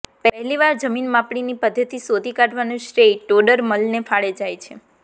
પહેલી વાર જમીન માપણીની પદ્ધતિ શોધી કાઢવાનું શ્રેય ટોડરમલને ફાળે જાય છે